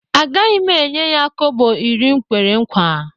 Agaghị m enye ya kobo iri m kwere nkwa